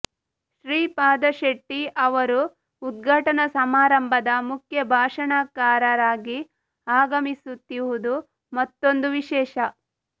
ಶ್ರೀಪಾದ ಶೆಟ್ಟಿ ಅವರು ಉದ್ಘಾಟನಾ ಸಮಾರಂಭದ ಮುಖ್ಯ ಭಾಷಣಕಾರರಾಗಿ ಆಗಮಿಸುತ್ತಿವುದು ಮತ್ತೊಂದು ವಿಶೇಷ